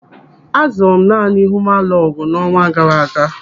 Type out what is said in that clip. Azụrụ m naanị huumalọgụ n'ọnwa gaara aga.